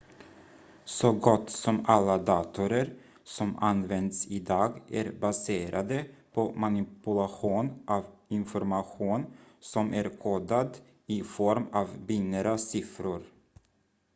så gott som alla datorer som används idag är baserade på manipulation av information som är kodad i form av binära siffror